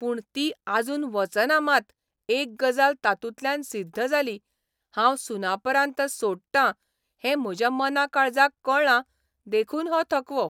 पूण ती आजून वचना मात एक गजाल तातूंतल्यान सिद्ध जाली हांव 'सुनापरान्त 'सोडटां हें म्हज्या मना काळजाक कळ्ळां देखून हो थकवो